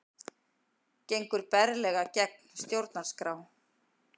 Gengur berlega gegn stjórnarskrá